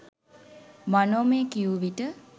මනෝමය කියු විට